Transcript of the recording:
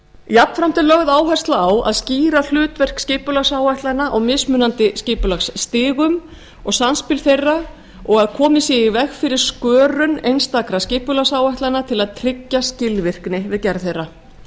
jafnframt er lögð áhersla á að skýra hlutverk skipulagsáætlana á mismunandi skipulagsstigum og samspil þeirra og komið sé í veg fyrir skörun einstakra skipulagsáætlana til að tryggja skilvirkni við gerð þeirra